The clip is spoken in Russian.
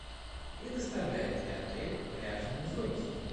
предоставляет ли отель пляжные зонтики